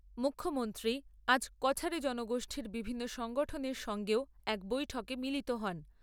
মুখ্যমন্ত্রী আজ কছারী জনগোষ্ঠীর বিভিন্ন সংগঠনের সঙ্গেও এক বৈঠকে মিলিত হন।